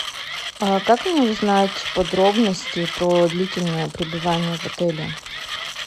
а как мне узнать подробности про длительное пребывание в отеле